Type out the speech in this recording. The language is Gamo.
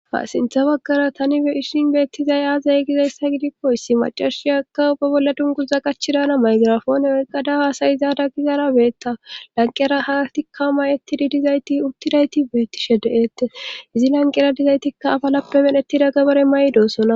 sintha baggara tani ishin beettizay aazay gizayssa gidikko issi macarshiyakka ubbe bolla dunguza qachidana maygirafon erqadahaasayizaada gizara beetta lanqera haatikka may7ettidi dizayti ubtidayti beettishe de7eette izi lanqera dizaytikka afalappe menettida gabare may7 doosona